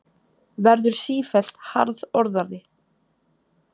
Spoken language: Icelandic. Verður sífellt harðorðari.